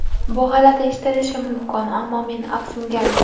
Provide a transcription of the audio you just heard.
Bu g‘alati eshitilishi mumkin, ammo men afsungarman.